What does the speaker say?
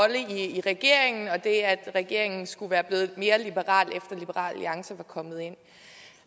i regeringen og det at regeringen skulle være blevet mere liberal efter liberal alliance var kommet ind